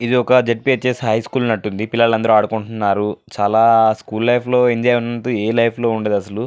ఇది ఒక జఫ్స్ హై స్కూల్ ఉన్నటు ఉంది. పిల్లలు అందరూ ఆడుకుంటున్నారు చాల స్కూల్ లైఫ్ లో ఎంజాయ్ ఉన్నటు ఆ లైఫ్ లో ఉండదు.